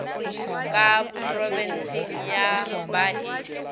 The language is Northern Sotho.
ka phrobenseng ye ba e